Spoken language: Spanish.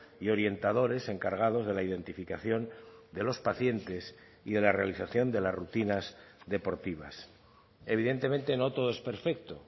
y orientadores encargados de la identificación de los pacientes y de la realización de las rutinas deportivas evidentemente no todo es perfecto